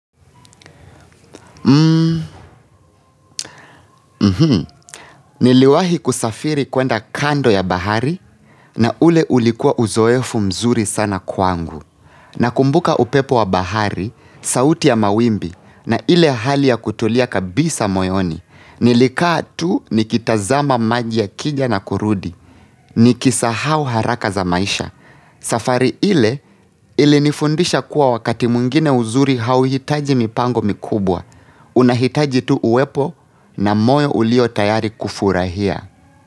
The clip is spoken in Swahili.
Hmm, niliwahi kusafiri kwenda kando ya bahari na ule ulikua uzoefu mzuri sana kwangu. Nakumbuka upepo wa bahari, sauti ya mawimbi na ile hali ya kutulia kabisa moyoni. Nilikaa tu nikitazama maji ya kija na kurudi. Nikisahau haraka za maisha. Safari ile ilinifundisha kuwa wakati mwingine uzuri hauhitaji mipango mikubwa. Unahitaji tu uwepo na moyo ulio tayari kufurahia.